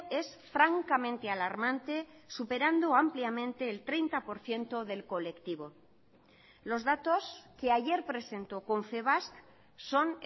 es francamente alarmante superando ampliamente el treinta por ciento del colectivo los datos que ayer presentó confebask son